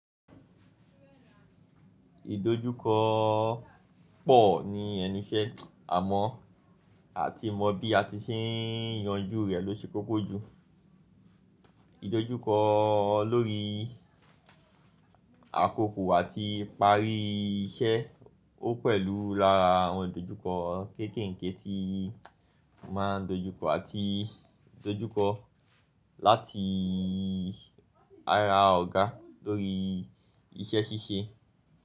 Ìdojúkọ pọ̀ ní ẹnu iṣẹ́ àmọ́ à ti mọ bí a ti ṣe ń yanjú rẹ̀ ló ṣe koko jù. Ìdojúkọ lórí àkókò àti ìparí iṣẹ́ ó pẹ̀lú lára àwọn ìdojúkọ kéèkèèké tí ma n dojúkọ àti ìdojúkọ láti ara ọ̀gá lórí iṣẹ́ ṣíṣe.